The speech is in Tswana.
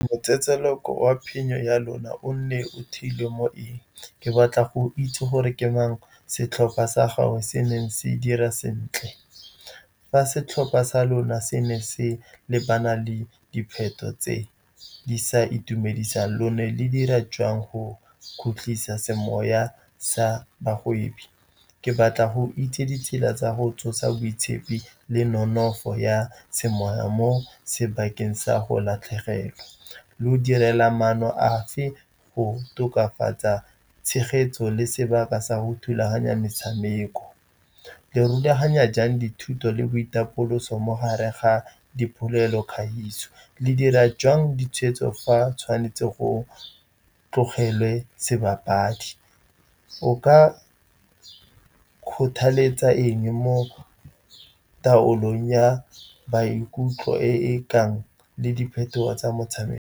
Motseletseleko wa phenyo ya lona o nne o theilwe mo eng? Ke batla go itse gore ke mang setlhopha sa gago se neng se dira sentle, fa setlhopha sa lona se ne se lebana le dipheto tse di sa itumedisang, lone le dira jang go khutlisa semoya sa bagwebi? Ke batla go itse ditsela tsa go tsosa boitshepi le nonofo ya semoya mo sebakeng sa go latlhegelwa, lo direla maano afe go tokafatsa tshegetso le sebaka sa go thulaganya metshameko. Le rulaganya jang dithuto le boitapoloso mo gare ga dipolelo, kgaisano, le dira jang ditshwetso fa tshwanetse go tlogelwa sebapadi? O ka kgothaletsa eng mo taolong ya maikutlo e e kang le diphetogo tsa motshameko?